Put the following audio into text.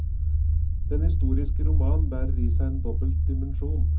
Den historiske roman bærer i seg en dobbel dimensjon.